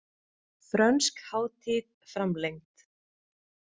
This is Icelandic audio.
Frönsk hátíð framlengd